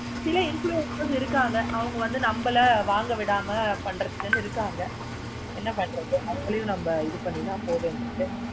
சில influencer இருக்குறவங்க இருக்காங்க. அவங்க வந்து நம்பள வாங்க விடாம பண்றதுக்கு இருக்காங்க. என்ன பண்றது அவுங்களை இது பண்ணி தான் நம்ம போ வேண்டி இருக்கு.